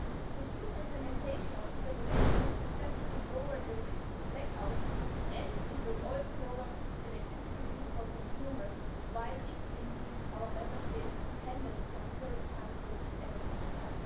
The future implementation of this regulation will successfully lower the risk of black outs and it will also lower the electricity bills for consumers while decreasing our Member States' dependence on third countries' energy supply.